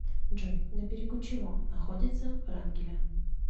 джой на берегу чего находится врангеля